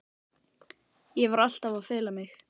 Ég var alltaf að fela mig.